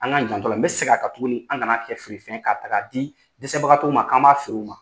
An ka janto a la n bɛ segin a kan tuguni an kana kɛ feere fɛn ye k'a ta k'a di dɛsɛbagatɔw ma k'an an b'a feere u ma.